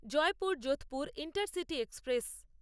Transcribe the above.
Jaipur Jodhpur intercity express